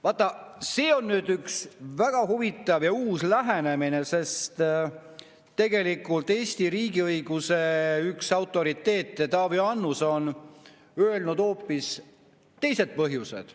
Vaat see on nüüd üks väga huvitav ja uus lähenemine, sest üks Eesti riigiõiguse autoriteete Taavi Annus on öelnud hoopis teised põhjused.